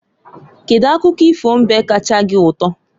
Kedu akụkọ ifo mbe kacha gị ụtọ?